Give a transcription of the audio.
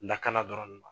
Lakana dɔrɔn